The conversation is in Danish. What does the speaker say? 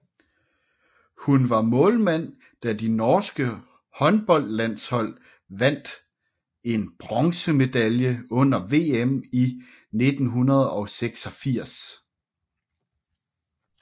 Hun var målmand da de norske håndboldlandshold vandt en bronzemedalje under VM 1986